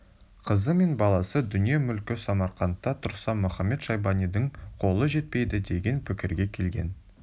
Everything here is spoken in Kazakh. қызы мен баласы дүние-мүлкі самарқантта тұрса мұхамед-шайбанидың қолы жетпейді деген пікірге келген